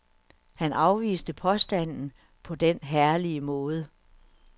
Han afviste påstanden på den herlige måde.